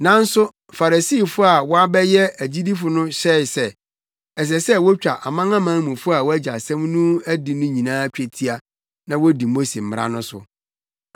Nanso Farisifo a wɔabɛyɛ agyidifo no hyɛe sɛ, ɛsɛ sɛ wotwa amanamanmufo a wɔagye asɛm no adi no nyinaa twetia na wodi Mose mmara no so.